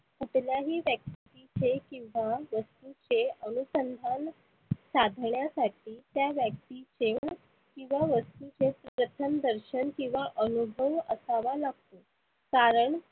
कुठल्याही इथे किंवा ते अनुसंधान साधण्यासाठी त्या व्यक्तीचे किंवा वस्तुचे प्रथम दर्शन किंवा अनुभव असावा लागतो. कारण